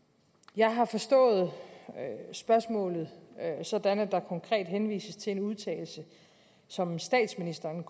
jeg har forstået spørgsmålet sådan at der konkret henvises til en udtalelse som statsministeren